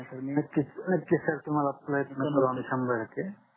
नक्कीच नक्कीच सर आम्ही तुम्हाला प्रयत्न करू शंभर टक्के